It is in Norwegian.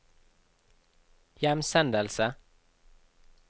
hjemsendelse